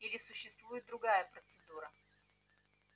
или существует другая процедура